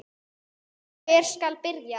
Hvar skal byrja?